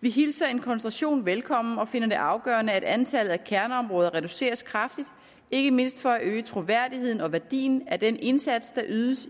vi hilser en koncentration velkommen og finder det afgørende at antallet af kerneområder reduceres kraftigt ikke mindst for at øge troværdigheden og værdien af den indsats der ydes